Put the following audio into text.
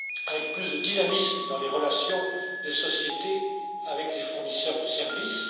avec plus de dynamisme dans les relations des sociétés avec les fournisseurs de services.